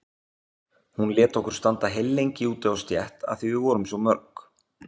Hún lét okkur standa heillengi úti á stétt af því að við vorum svo mörg.